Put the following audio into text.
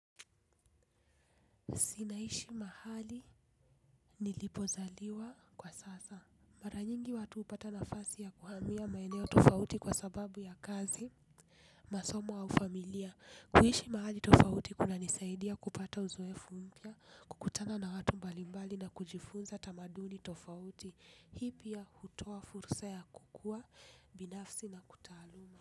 Si naishi mahali nilipozaliwa kwa sasa. Mara nyingi watu hupata nafasi ya kuhamia maeneo tofauti kwa sababu ya kazi, masomo au familia. Kuishi mahali tofauti kunanisaidia kupata uzoefu mpya, kukutana na watu mbalimbali na kujifunza tamaduni tofauti. Hii pia hutoa fursa ya kukua binafsi na kutahaluma.